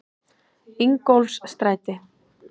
Ingólfsstræti